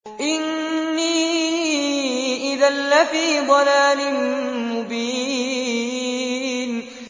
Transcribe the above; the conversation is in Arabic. إِنِّي إِذًا لَّفِي ضَلَالٍ مُّبِينٍ